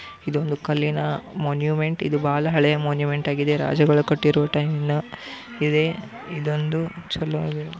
ಇದು ಒಂದು ಕಲ್ಲಿನ ಮಾನ್ಯುಮೆಂಟ್ ಇದು ಬಹಳ ಹಳೆಯ ಮಾನ್ಯೂಮೆಂಟ್ ಆಗಿದೆ. ರಾಜಗಳು ಕಟ್ಟಿರೋ ಟೈಮನ ಇದೇ ಇದೊಂದು ಚಲೋ ಆಗಿದೆ